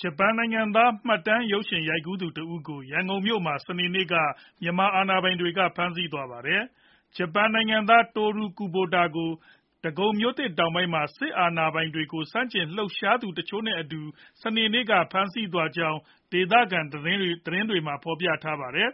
ဂျပန်နိုင်ငံသား မှတ်တမ်းရုပ်ရှင်ရိုက်ကူးသူတဦးကို ရန်ကုန်မြို့မှာ စနေနေ့က မြန်မာအာဏာပိုင်တွေ ဖမ်းဆီးသွားပါတယ်။ ဂျပန်နိုင်ငံသား Toru Kubota ကို ဒဂုံမြို့သစ်တောင်ပိုင်းမှာ စစ်အာဏာပိုင်တွေကို ဆန့်ကျင်လှုပ်ရှားသူ တချို့နဲ့အတူ စနေနေ့က ဖမ်းဆီးသွားကြောင်း ဒေသခံ သတင်းတွေက ဖော်ပြခဲ့သလို၊